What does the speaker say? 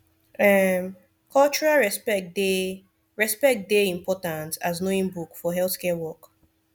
um cultural respect dey respect dey important as knowing book for healthcare work